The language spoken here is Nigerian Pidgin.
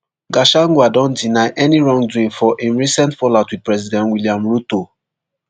gachagua don deny any wrongdoing for im recent fallout wit president william ruto